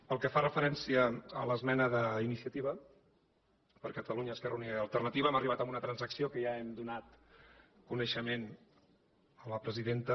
pel que fa referència a l’esmena d’iniciativa per catalunya esquerra unida i alternativa hem arribat a una transacció de la qual ja hem donat coneixement a la presidenta